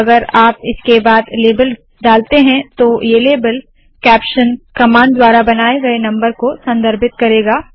अगर आप इसके बाद लेबल डालते है तो ये लेबल कैप्शन कमांड द्वारा बनाए गए नम्बर को संदर्भित करेगा